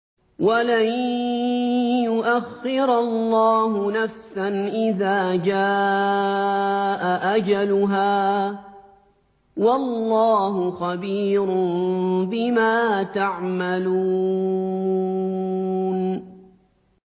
وَلَن يُؤَخِّرَ اللَّهُ نَفْسًا إِذَا جَاءَ أَجَلُهَا ۚ وَاللَّهُ خَبِيرٌ بِمَا تَعْمَلُونَ